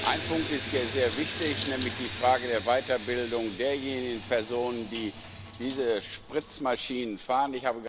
Ein Punkt ist hier sehr wichtig, nämlich die Frage der Weiterbildung derjenigen Personen, die diese Spritzmaschinen fahren.